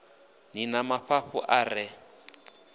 ni na mafhafhu a re